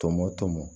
Tɔmɔ tɔmɔ